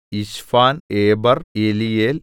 Ishpan Eber Eliel